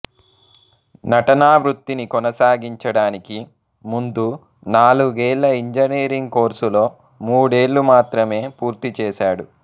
నటనా వృత్తిని కొనసాగించడానికి ముందు నాలుగేళ్ల ఇంజనీరింగ్ కోర్సులో మూడేళ్ళు మాత్రమే పూర్తి చేశాడు